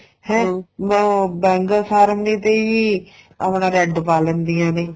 ਹੈ ਉਹ bangle ceremony ਤੇ ਹੀ ਆਪਣਾ red ਪਾ ਲੈਂਦੀਆਂ ਨੇ